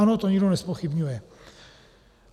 Ano, to nikdo nezpochybňuje.